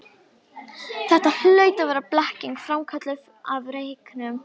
Þetta hlaut að vera blekking, framkölluð af reyknum.